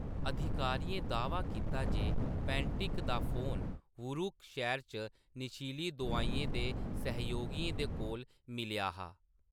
अधिकारियें दा‌‌ह्‌वा कीता जे पैंटिक दा फोन वुरुक शैह्‌र च नशीली दोआई दे सहयोगियें दे कोल मिलेआ हा।